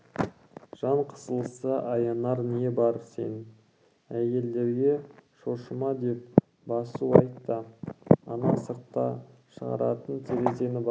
жан қысылса аянар не бар сен әйелдерге шошыма деп басу айт та ана сыртқа шығатын терезені бақ